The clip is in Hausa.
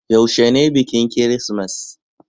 yaushe ne bikin kirismas?